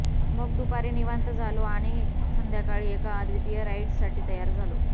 मग दुपारी निवांत झालो आणि संध्याकाळी एका अद्वितीय राईड्साठी तयार झालो